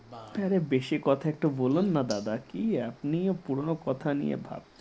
বারা আরে বেশি কথা একটা বলুন না দাদা । কে আপনিও পুরনো কথা নিয়ে ভাবছেন